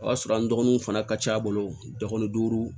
O y'a sɔrɔ an dɔgɔninw fana ka ca a bolo dɔgɔnin duuru